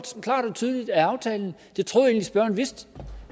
tydeligt af aftalen og det troede jeg egentlig spørgeren vidste